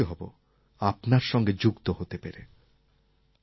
আমি খুশি হব আপনার সঙ্গে যুক্ত হতে পেরে